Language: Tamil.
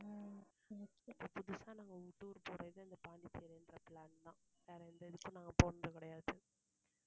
இப்ப புதுசா, நாங்க tour போறது, இந்த பாண்டிச்சேரின்ற plan தான். வேற எந்த இதுக்கும், நாங்க போனது கிடையாது.